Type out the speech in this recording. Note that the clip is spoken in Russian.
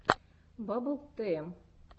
баббл тм